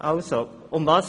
Worum geht es?